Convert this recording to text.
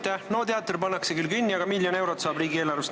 NO99 teater pannakse küll kinni, aga miljon eurot saab riigieelarvest.